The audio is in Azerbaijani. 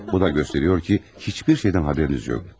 Bu da göstərir ki, heç bir şeydən xəbəriniz yoxdur.